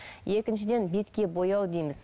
екіншіден бетке бояу дейміз